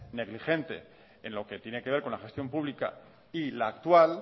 negligente en lo que tiene que ver con la gestión pública y la actual